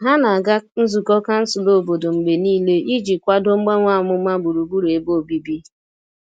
Ha na-aga nzukọ kansụl obodo mgbe niile iji kwado mgbanwe amụma gburugburu ebe obibi.